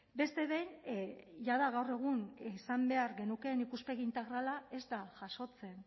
beste behin jada gaur egun izan behar genukeen ikuspegi integrala ez da jasotzen